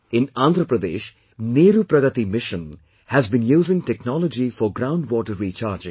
In Andhra Pradesh, 'Neeru Pragati Mission' has been using technology for ground water recharging